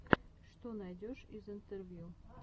что найдешь из интервью